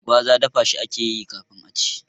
Gwaza dafa shi akeyi kafin a ci